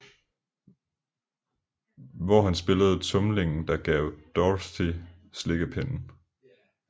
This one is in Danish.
Hvor han spillede tumlingen der gav Dorothy slikkepinden